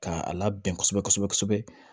Ka a labɛn kosɛbɛ kosɛbɛ